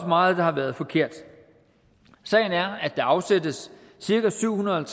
meget der har været forkert sagen er at der afsættes cirka syv hundrede og